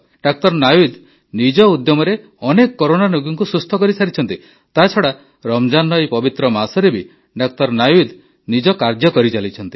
ଡା ନାୱିଦ୍ ନିଜ ଉଦ୍ୟମରେ ଅନେକ କରୋନା ରୋଗୀଙ୍କୁ ସୁସ୍ଥ କରିସାରିଛନ୍ତି ତାଛଡ଼ା ରମଜାନ୍ର ଏହି ପବିତ୍ର ମାସରେ ବି ଡା ନାୱିଦ୍ ନିଜ କାର୍ଯ୍ୟ କରିଚାଲିଛନ୍ତି